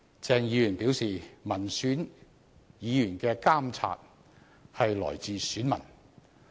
鄭議員表示，民選議員的監察來自選民。